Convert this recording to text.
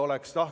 Aitäh!